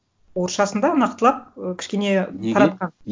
орысшасында нақтылап і кішкене таратқан